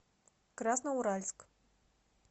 красноуральск